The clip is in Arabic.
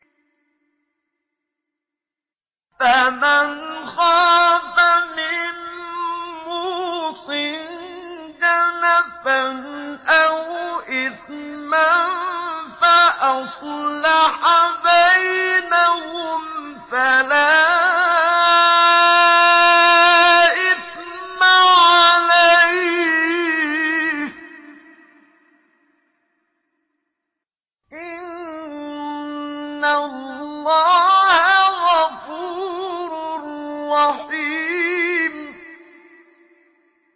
فَمَنْ خَافَ مِن مُّوصٍ جَنَفًا أَوْ إِثْمًا فَأَصْلَحَ بَيْنَهُمْ فَلَا إِثْمَ عَلَيْهِ ۚ إِنَّ اللَّهَ غَفُورٌ رَّحِيمٌ